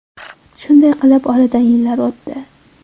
Shunday qilib oradan yillar o‘tdi.